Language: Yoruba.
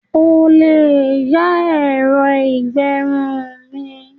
O lè yá ẹ̀rọ ìgbẹrun mi.